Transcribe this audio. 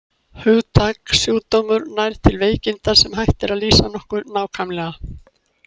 Hugtakið sjúkdómur nær til veikinda, sem hægt er að lýsa nokkuð nákvæmlega.